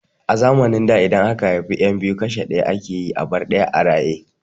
A zamanin da idan aka haifi yan biyu kashe ɗaya ake yi a bar ɗaya a raye